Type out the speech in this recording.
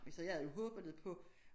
Så jeg havde jo håbet lidt på